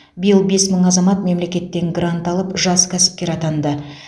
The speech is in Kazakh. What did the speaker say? биыл бес мың азамат мемлекеттен грант алып жас кәсіпкер атанды